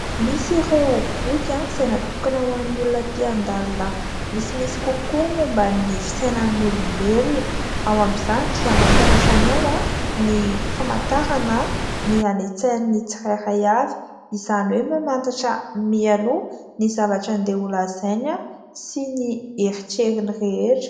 Misy ireo boky izay natokana ho an'ny olona te handalina misimisy kokoa momba ny fisainan'ny olombelona ; ao amin'izany dia mampianatra anao ny famantarana ny any an-tsain'ny tsirairay avy, izany hoe mamantatra mialoha ny zavatra handeha holazainy sy ny eritreriny rehetra.